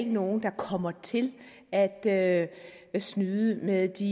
nogen der kommer til at at snyde med de